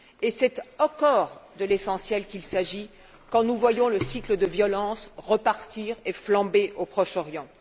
C'est encore de l'essentiel qu'il s'agit quand nous voyons le cycle de violences repartir et flamber au Proche Orient.